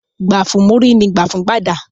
Gbà fún múrí, ní gbà fún gbàdà